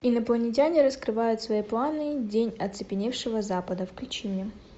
инопланетяне раскрывают свои планы день оцепеневшего запада включи мне